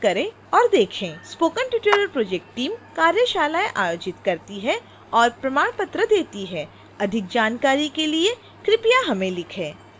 spoken tutorial project team कार्यशालाएं आयोजित करती है और प्रमाण पत्र देती है